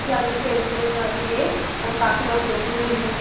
इसके आगे एक टेंट जैसा भी है और काफी लोग बैठे हुए है इसम --